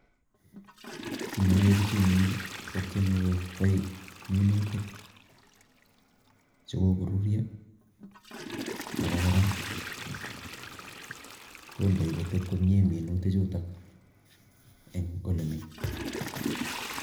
ki ne aae biichu eng yu ko tyeme kokei minutik che kikururio ako kora kondei koteb komie minutichuto eng ole mi